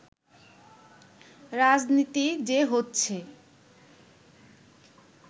রাজনীতি যে হচ্ছে